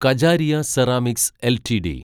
Kajaria ceramics LTD